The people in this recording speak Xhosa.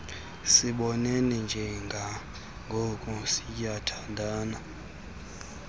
sibonene njengangoku siyathandana